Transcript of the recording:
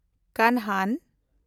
ᱠᱟᱱᱦᱟᱱ